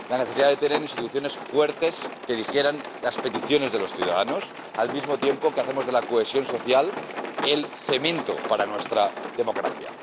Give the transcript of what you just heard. La necesidad de tener instituciones fuertes que digieran las peticiones de los ciudadanos, al mismo tiempo que hacemos de la cohesión social el cemento para nuestra democracia.